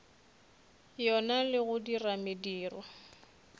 yona le go dira mediro